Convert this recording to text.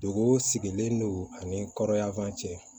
Dugu sigilen don ani kɔrɔyafan cɛ